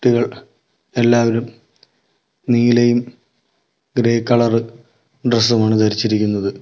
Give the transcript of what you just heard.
എല്ലാവരും നീലയും grey colour ഡ്രസ്സുമാണ് ധരിച്ചിരിക്കുന്നത്.